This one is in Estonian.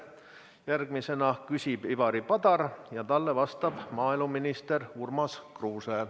Järgmisena küsib Ivari Padar ja talle vastab maaeluminister Urmas Kruuse.